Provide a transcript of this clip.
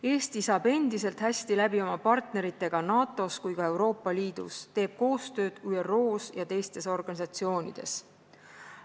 Eesti saab endiselt hästi läbi nii oma partneritega NATO-s kui ka Euroopa Liidus, teeb koostööd ÜRO-s ja teistes organisatsioonides.